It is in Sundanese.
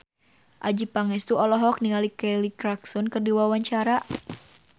Adjie Pangestu olohok ningali Kelly Clarkson keur diwawancara